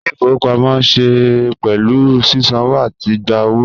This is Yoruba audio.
Ile-ifowopamọ ṣe pẹlu sisanwo ati gba owo